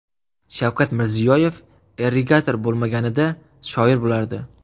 Shavkat Mirziyoyev irrigator bo‘lmaganida, shoir bo‘lardi .